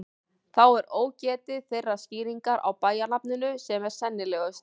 Þá er ógetið þeirrar skýringar á bæjarnafninu sem er sennilegust.